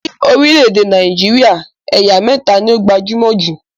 Ní orílẹ̀èdè Nàìjíríà, ẹ̀yà mẹta ni ó gbajúmọ̀ jù